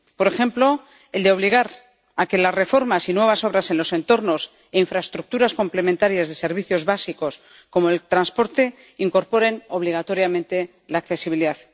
Por ejemplo, el de obligar a que las reformas y nuevas obras en los entornos e infraestructuras complementarias de servicios básicos, como el transporte, incorporen obligatoriamente la accesibilidad.